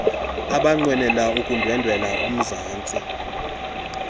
abanqwenela ukundwendwela umzantsi